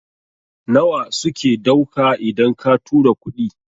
nawa suke dauka idan ka tura kuɗi?